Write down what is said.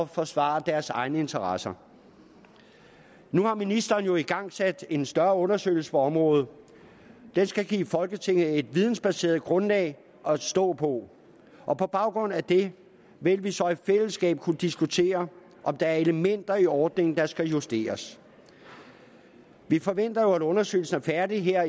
forsvare deres egne interesser nu har ministeren jo igangsat en større undersøgelse på området den skal give folketinget et videnbaseret grundlag at stå på og på baggrund af det vil vi så i fællesskab kunne diskutere om der er elementer i ordningen der skal justeres vi forventer jo at undersøgelsen er færdig her